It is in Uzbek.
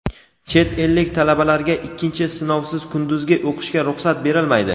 Chet ellik talabalarga ikkinchi sinovsiz kunduzgi o‘qishga ruxsat berilmaydi.